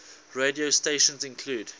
radio stations include